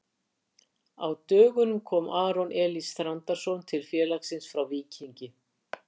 Á dögunum kom Aron Elís Þrándarson til félagsins frá Víkingi.